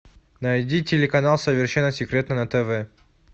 найди телеканал совершенно секретно на тв